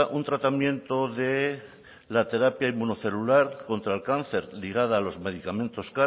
un tratamiento de la terapia inmunocelular contra el cáncer ligada a los medicamentos